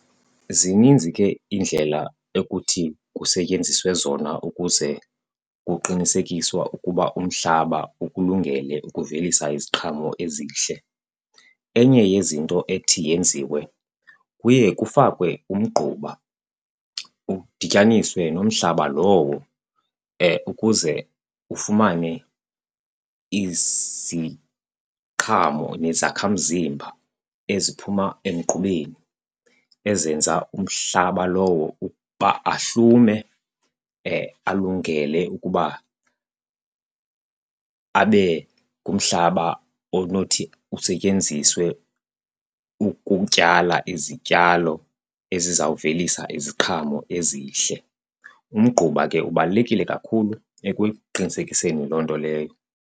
Zininzi ke iindlela ekuthi kusetyenziswe zona ukuze kuqinisekiswa ukuba umhlaba ukulungele ukuvelisa iziqhamo ezihle. Enye yezinto ethi yenziwe kuye kufakwe umgquba udityaniswe nomhlaba lowo ukuze ufumane iziqhamo nezakhamzimba eziphuma emgqubeni ezenza umhlaba lowo ukuba ahlume alungele ukuba abe ngumhlaba onothi usetyenziswe ukutyala izityalo ezizawuvelisa iziqhamo ezihle. Umgquba ke ubalulekile kakhulu ekuqinisekiseni loo nto leyo.